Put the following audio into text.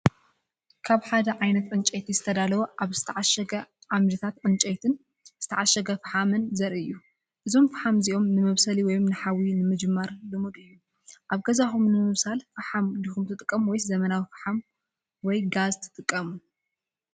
ካብ ሓደ ዓይነት ዕንጨይቲ ዝተዳለወ ኣብ ዝተዓሸገ ዓምድታት ዕንጨይቲ ዝተዓሸገ ፈሓም ዘርኢ እዩ። እዞም ፈሓም እዚኦም ንመብሰሊ ወይ ንሓዊ ንምጅማር ልሙድ እዩ። ኣብ ገዛኩም ንምብሳል ፈሓም ዲኩም ትጥቀሙ ወይስ ዘመናዊ ፈሓም ወይ ጋዝ ትጥቀሙ?